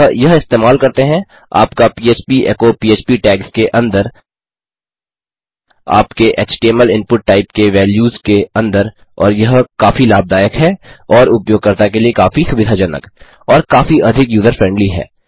अतः यह इस्तेमाल करते हैं आपका पह्प एचो पह्प टैग्स के अंदर आपके एचटीएमएल इनपुट टाइप के वैल्यूज़ के अंदर और यह काफी लाभदायक है और उपयोगकर्ता के लिए काफी अधिक सुविधाजनक और काफी अधिक यूजर फ्रेंडली है